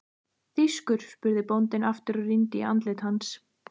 Þýskur? spurði bóndinn aftur og rýndi í andlit hans.